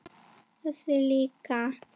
Þessi líka